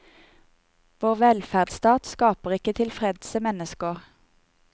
Vår velferdsstat skaper ikke tilfredse mennesker.